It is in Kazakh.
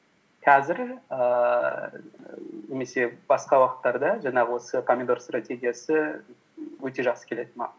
қазір ііі немесе басқа уақыттарда жаңағы осы помидор стратегиясы өте жақсы келеді маған